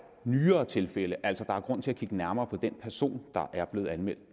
nyere tilfælde altså at der er grund til at kigge nærmere på den person der er blevet anmeldt